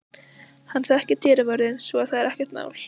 Hann þekkir dyravörðinn svo að það er ekkert mál.